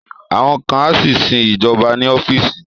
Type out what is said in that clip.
Àwọn kan á sì sin ìjọba ní ọ́fíìsì